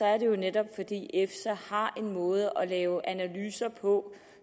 er det jo netop fordi efsa har en måde at lave analyser på